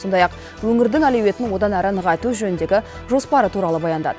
сондай ақ өңірдің әлеуетін одан әрі нығайту жөніндегі жоспары туралы баяндады